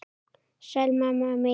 Sæl, mamma mín.